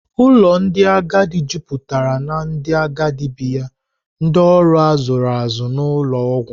Ụlọ ndị agadi juputara na ndị agadi bi ya, ndị ọrụ a zụrụ azụ na ụlọ ọgwụ.